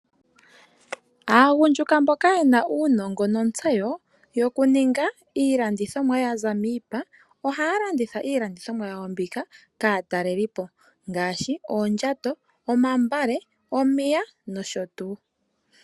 Aagundjuka mboka ye na uunongo nontseyo yokuninga iilandithomwa yaza miipa ohaya landitha iilandithomwa yawo mbika kaatalelipo ngaashi: oondjato, omambale, omiya nosho tuu.